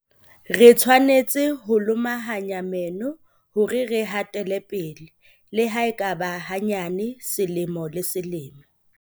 Re tshwanetse ho lomahanya meno hore re hatele pele - le ha e ka ba hanyane selemo le selemo.